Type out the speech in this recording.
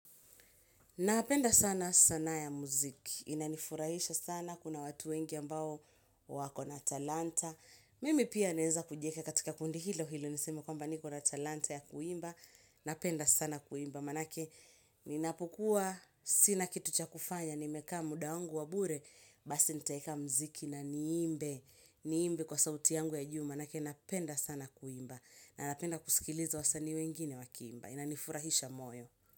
Napenda sana saana ya muziki. Inanifurahisha sana. Kuna watu wengi ambao wako na talanta. Mimi pia neza kujieka katika kundi hilo hilo. Nisema kwamba niko na talanta ya kuimba. Napenda sana kuimba. Manake ninapokua. Sina kitu cha kufanya. Nimeka muda wangu wabure. Basi nitaika muziki na niimbe. Niimbe kwa sauti yangu ya juma. Manake napenda sana kuimba. Na napenda kusikiliza wasani wengine wakiimba. Inanifurahisha moyo.